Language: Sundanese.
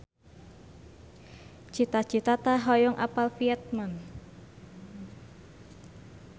Cita Citata hoyong apal Vietman